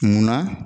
Munna